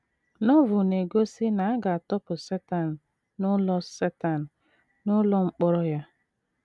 Novel na - egosi na “ a ga - atọpụ Setan n’ụlọ Setan n’ụlọ mkpọrọ ya. ”